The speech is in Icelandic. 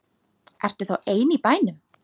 Ertu þá ein í bænum?